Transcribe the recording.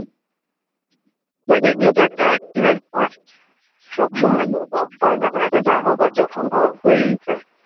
ধূর এগুলো তো একটা এক্সিডেন্ট না সব সময় তো এরকম হয়না না, এটা যা হবার যখন হওয়ার হয়েই যায়